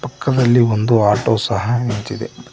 ಪಕ್ಕದಲ್ಲಿ ಒಂದು ಆಟೋ ಸಹ ನಿಂತಿದೆ.